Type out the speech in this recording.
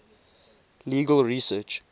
legal research